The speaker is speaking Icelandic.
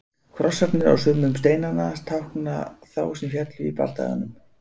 Krossarnir á sumum steinanna tákna þá sem féllu í bardaganum.